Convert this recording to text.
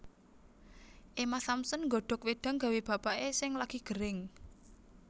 Emma Thompson nggodhok wedang gawe bapak e sing lagi gering